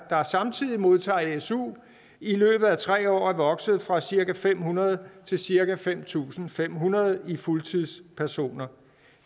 der samtidig modtager su i løbet af tre år er vokset fra cirka fem hundrede til cirka fem tusind fem hundrede i fuldtidspersoner